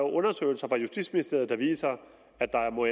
undersøgelser fra justitsministeriet der viser at der må